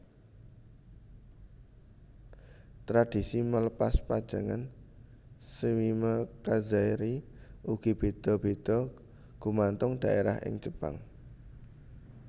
Tradisi melepas pajangan shimekazari ugi béda béda gumantung dhaérah ing Jepang